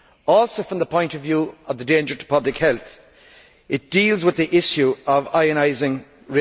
Also, from the point of view of the danger to public health, it deals with the issue of ionising radiation.